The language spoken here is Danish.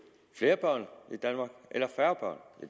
flere børn i danmark eller færre